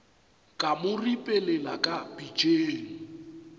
ka mo ripelela ka pitšeng